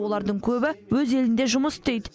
олардың көбі өз елінде жұмыс істейді